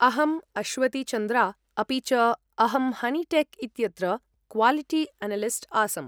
अहम् अश्वति चन्द्रा अपि च अहं हनिटेक् इत्यत्र क्वालिटी अनलिस्ट् आसम्।